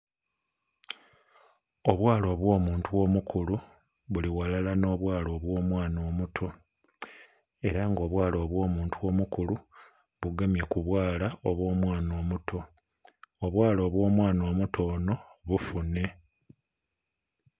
Obwala obwo muntu mukulu buli ghalala no bwo mwaana omuto era nga obwala obwo muntu omukulu bugemye ku bwala obwo mwaana omuto. Obwala obwo mwaana omuto ono bufune